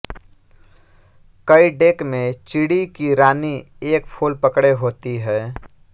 कई डेक में चिडी की रानी एक फूल पकड़े होती है